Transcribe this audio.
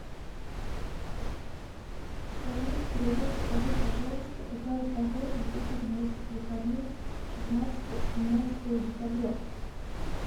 салют привет скажи пожалуйста какая погода будет на этих выходных шестнадцатое семнадцатое декабря